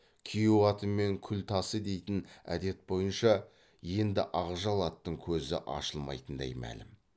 күйеу атымен күл тасы дейтін әдет бойынша енді ақжал аттың көзі ашылмайтын дәй мәлім